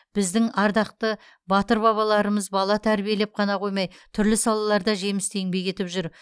біздің ардақты батыр аналарымыз бала тәрбиелеп қана қоймай түрлі салаларда жемісті еңбек етіп жүр